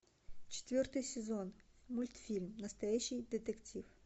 четвертый сезон мультфильм настоящий детектив